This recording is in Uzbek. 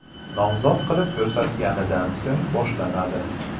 nomzod qilib ko‘rsatganidan so‘ng boshlanadi.